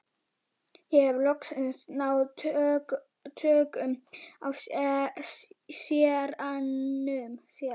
Ég hef loks náð tökum á séranum.